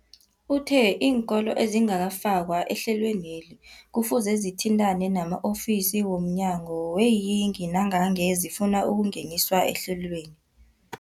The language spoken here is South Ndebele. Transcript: Uthe iinkolo ezingakafakwa ehlelweneli kufuze zithintane nama-ofisi wo mnyango weeyingi nangange zifuna ukungeniswa ehlelweni.